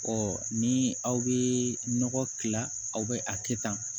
ni aw bɛ nɔgɔ tila aw bɛ a kɛ tan